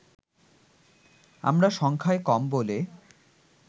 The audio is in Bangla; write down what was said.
আমরা সংখ্যায় কম বলে